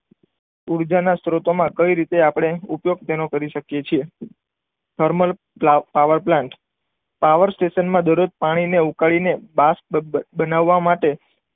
ઉર્જા ના સ્ત્રોતો માં કઈ રીતે આપણે ઉપયોગ તેનો કરી શકીએ છીએ. થર્મલ પાવર પ્લાન્ટ પાવર સ્ટેશનમાં દરરોજ પાણીને ઉકાળીને બાસ્પ બનાવવા માટે,